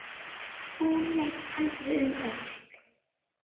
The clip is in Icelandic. Hún leit aldrei um öxl.